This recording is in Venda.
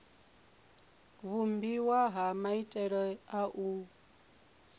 vhumbiwa ha maitele a u